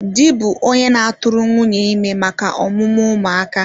Di bụ onye na-atụrụ nwunye ime maka ọmụmụ ụmụ aka